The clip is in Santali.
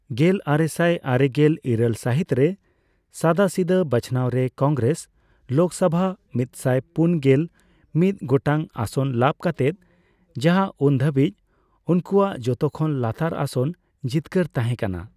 ᱜᱮᱞᱟᱨᱮᱥᱟᱭ ᱟᱨᱮᱜᱮᱞ ᱤᱨᱟᱹᱞ ᱥᱟᱦᱤᱛ ᱨᱮ ᱥᱟᱫᱟᱥᱤᱫᱟᱹ ᱵᱟᱪᱷᱟᱱᱟᱣ ᱨᱮ ᱠᱚᱝᱜᱮᱨᱮᱥ ᱞᱳᱠᱥᱚᱣᱷᱟ ᱢᱤᱛᱥᱟᱭ ᱯᱩᱱᱜᱮᱞ ᱢᱤᱛ ᱜᱚᱴᱟᱝ ᱟᱥᱚᱱ ᱞᱟᱵ ᱠᱟᱛᱮᱜ, ᱡᱟᱦᱟ ᱩᱱᱫᱚ ᱫᱷᱟᱵᱤᱪ ᱩᱱᱠᱩᱣᱟᱜ ᱡᱷᱚᱛᱠᱷᱚᱱ ᱞᱟᱛᱟᱨ ᱟᱥᱚᱱ ᱡᱤᱛᱠᱟᱹᱨ ᱛᱟᱦᱮᱸ ᱠᱟᱱᱟ ᱾